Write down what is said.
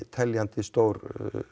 teljandi stór